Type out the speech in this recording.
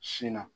Sin na